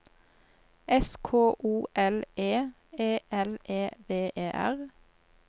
S K O L E E L E V E R